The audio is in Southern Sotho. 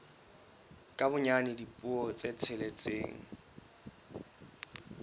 ka bonyane dipuo tse tsheletseng